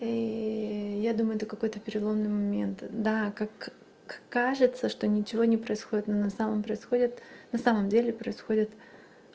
и я думаю ты какой-то переломный момент да как кажется что ничего не происходит на самом происходит на самом деле происходит